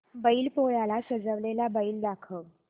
बैल पोळ्याला सजवलेला बैल दाखव